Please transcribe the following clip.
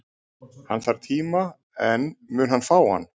Hann þarf tíma, en mun hann fá hann?